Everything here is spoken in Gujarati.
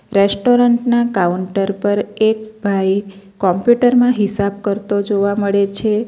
રેસ્ટોરન્ટ ના કાઉન્ટર પર એક ભાઈ કોમ્પ્યુટર માં હિસાબ કરતો જોવા મળે છે.